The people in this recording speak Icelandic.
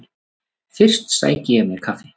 Fyrst sæki ég mér kaffi.